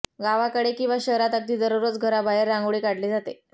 गावाकडे किंवा शहरात अगदी दररोज घराबाहेर रांगोळी काढली जाते